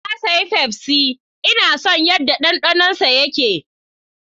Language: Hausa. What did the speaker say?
Na sayi fefsi, Ina son yadda dandano yake